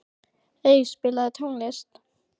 Ey, spilaðu tónlist.